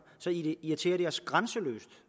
så irriterer det os grænseløst